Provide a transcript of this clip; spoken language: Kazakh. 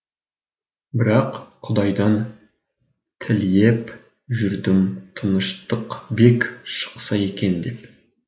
бірақ құдайдан тіліеп жүрдім тыныштықбек шықса екен деп